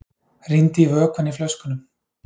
Rýndi í vökvann í flöskunum.